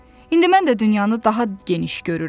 İndi mən də dünyanı daha geniş görürəm.